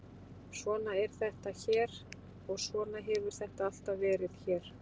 Svona er þetta hér og svona hefur þetta alltaf verið hér.